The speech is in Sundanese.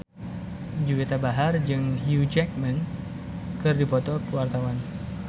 Juwita Bahar jeung Hugh Jackman keur dipoto ku wartawan